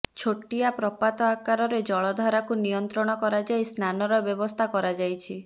ଛୋଟିଆ ପ୍ରପାତ ଆକାରରେ ଜଳଧାରାକୁ ନିୟନ୍ତ୍ରଣ କରାଯାଇ ସ୍ନାନର ବ୍ୟବସ୍ଥା କରାଯାଇଛି